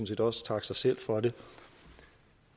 set også takke sig selv for det